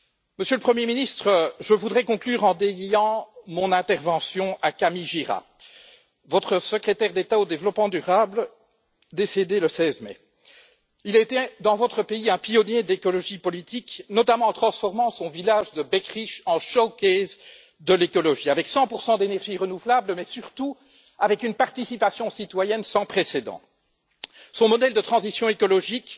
Monsieur le Premier ministre, je voudrais conclure en dédiant mon intervention à Camille Gira, votre secrétaire d'État au développement durable, décédé le 16 mai. Il a été dans votre pays un pionnier de l'écologie politique, notamment en transformant son village de Beckerich en vitrine de l'écologie, avec 100 d'énergies renouvelables, mais surtout avec une participation citoyenne sans précédent. Son modèle de transition écologique